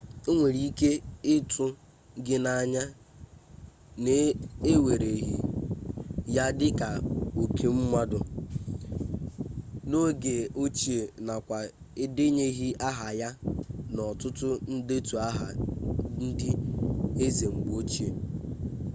o nwere ike ịtụ gị n'anya na ewereghị ya dịka oke mmadụ n'oge ochie nakwa edenyeghị aha ya n'ọtụtụ ndetu aha ndị eze mgbe ochie